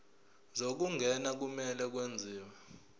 zokungena kumele kwenziwe